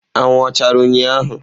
Anwụ ọ chara ụnyahụ?